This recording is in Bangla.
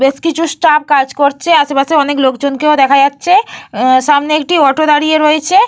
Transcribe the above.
বেশ কিছু স্টাফ কাজ করছে। আশেপাশে অনেক লোকজনকে দেখা যাচ্ছে। সামনে একটি অটো দাঁড়িয়ে রয়েছে।